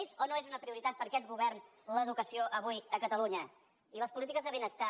és o no és una prioritat per aquest govern l’educació avui a catalunya i les polítiques de benestar